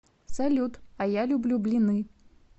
салют а я люблю блины